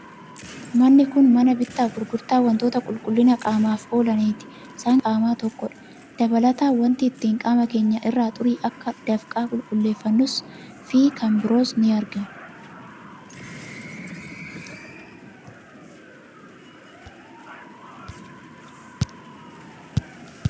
Manni kun mana bittaa fi gurgurtaa waantota qulqullina qaamaaf oolaniiti. Isaan keessaa saamunaan uffataa fi qaamaa tokkodha. Dabalataan waanti ittiin qaama keenya irraa xurii akka dafqaa qulqulleeffannus fi kan biroon ni argamu.